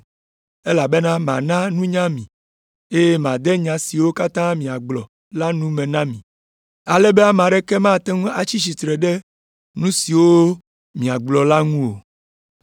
elabena mana nunya mi, eye made nya siwo katã miagblɔ la nu me na mi, ale be ame aɖeke mate ŋu atsi tsitre ɖe nu siwo miagblɔ la ŋu o.